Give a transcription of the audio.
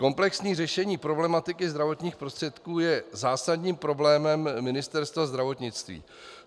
Komplexní řešení problematiky zdravotních prostředků je zásadním problémem Ministerstva zdravotnictví.